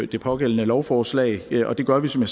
det pågældende lovforslag og det gør vi som